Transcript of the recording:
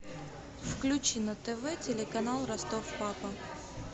включи на тв телеканал ростов папа